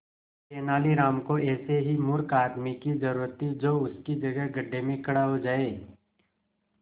तेनालीराम को ऐसे ही मूर्ख आदमी की जरूरत थी जो उसकी जगह गड्ढे में खड़ा हो जाए